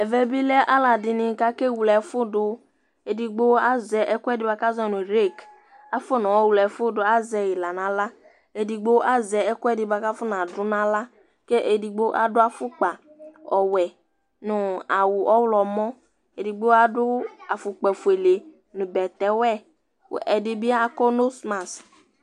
ɛvɛ bilɛ ɔlɔdini kake wlɛfudu, edigbo azɛ ɛkuɛdi bua kazɔnu rek afɔnɔwlɛfudu azɛyila naɣlra edigbo azɛ ɛkuɛdi bua kafɔnadu naɣlra, ku edigbo adu afukpa ɔwɛ nu awu ɔwlɔmɔ edigbi adu afukpa fuele nu bɛtɛ wɛ , ku ɛdibi akɔ nosmas